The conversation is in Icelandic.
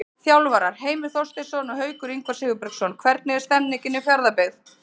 Þjálfarar: Heimir Þorsteinsson og Haukur Ingvar Sigurbergsson Hvernig er stemningin hjá Fjarðabyggð?